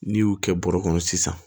N'i y'u kɛ bɔrɔ kɔnɔ sisan